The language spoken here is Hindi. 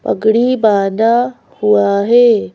पगड़ी बांधा हुआ है।